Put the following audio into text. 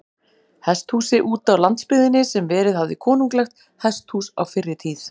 Hesthúsi útá landsbyggðinni, sem verið hafði konunglegt hesthús á fyrri tíð.